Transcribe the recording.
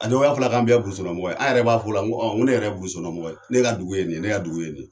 A dɔw y'a fɔla k'an bɛɛ ye burusikɔnɔ mɔgɔ ye, anw yɛrɛ b'a fɔ o la , ne yɛrɛ ye burusikɔnɔ mɔgɔ ye , ne ka dugu ye nin ye ne ka dugu ye nin ye.